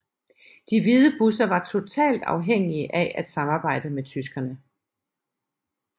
De hvide busser var totalt afhængige af at samarbejde med tyskerne